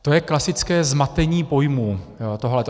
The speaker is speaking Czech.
To je klasické zmatení pojmů tohleto.